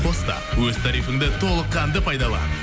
қос та өз тарифіңді толыққанды пайдалан